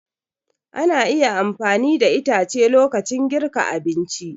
Ana iya amfani da itace lokacin girka abinci.